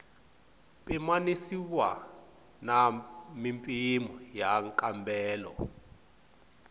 pimanisiwa na mimpimo ya nkambelo